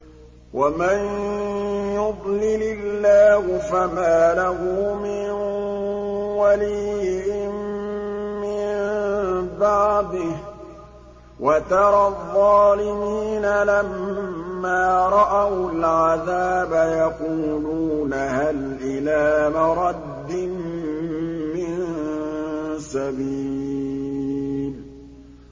وَمَن يُضْلِلِ اللَّهُ فَمَا لَهُ مِن وَلِيٍّ مِّن بَعْدِهِ ۗ وَتَرَى الظَّالِمِينَ لَمَّا رَأَوُا الْعَذَابَ يَقُولُونَ هَلْ إِلَىٰ مَرَدٍّ مِّن سَبِيلٍ